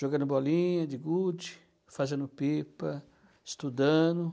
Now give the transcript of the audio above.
Jogando bolinha de gude, fazendo pipa, estudando.